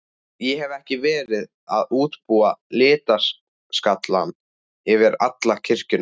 Ég hefi verið að útbúa litaskalann fyrir alla kirkjuna.